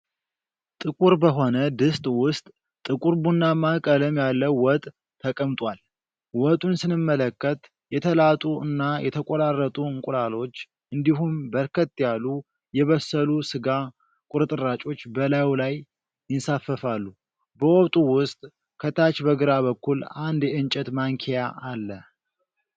ጥቁር በሆነ ድስት ውስጥ ጥቁር ቡናማ ቀለም ያለው ወጥ ተቀምጧል። ወጡን ስንመለከት የተላጡ እና የተቆራረጡ እንቁላሎች እንዲሁም በርከት ያሉ የበሰሉ ሥጋ ቁርጥራጮች በላዩ ላይ ይንሳፈፋሉ። በወጡ ውስጥ ከታች በግራ በኩል አንድ የእንጨት ማንኪያ አለ።